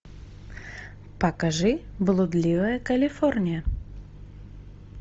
покажи блудливая калифорния